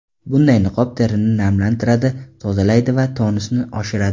Bunday niqob terini namlantiradi, tozalaydi va tonusni oshiradi.